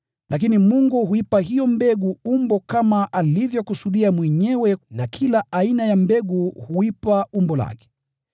Lakini Mungu huipa mbegu umbo kama alivyokusudia mwenyewe na kila aina ya mbegu huipa umbo lake.